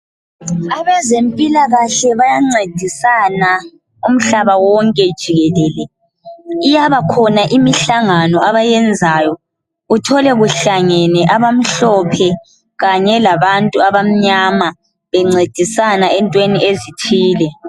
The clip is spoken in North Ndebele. Abezempilakahle bayancedisana umhlaba wonke jikelele. Iyaba khona imihlangano abayenzayo, uthole kuhlangene abamhlophe kanye labantu abamnyama bencedisana entweni ezithile.